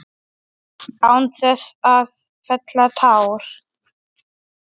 Án þess að fella tár.